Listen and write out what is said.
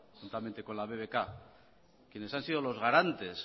juntamente con la bbk quienes han sido los garantes